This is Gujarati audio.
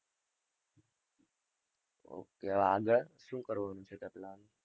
Okay આગળ શું કરવાનું છે?